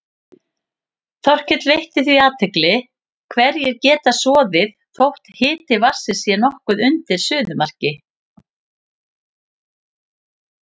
Þorkell veitti því athygli að hverir geta soðið þótt hiti vatnsins sé nokkuð undir suðumarki.